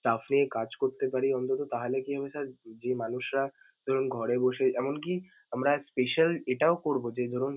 stuff নিয়ে কাজ করতে পারি অন্তত তাহলে কি হবে sir যে মানুষরা ধরুন ঘরে বসে এমনকি আমরা special এটাও করব যে ধরুন